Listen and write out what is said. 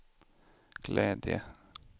glädje